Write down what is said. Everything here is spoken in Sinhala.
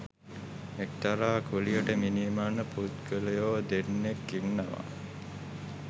එක්තරා කුලියට මිනි මරණ පුද්ගලයෝ දෙන්නෙක් ඉන්නවා